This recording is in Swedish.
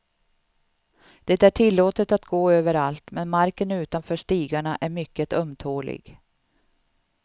Det är tillåtet att gå överallt men marken utanför stigarna är mycket ömtålig.